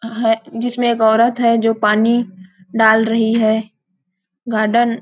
अह जिसमे एक औरत है जो पानी डाल रही है गार्डन --